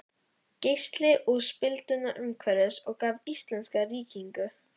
Geysi og spilduna umhverfis og gaf íslenska ríkinu.